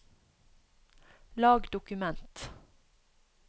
lag dokument